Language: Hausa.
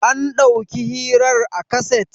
an dàuki hirar a kaset?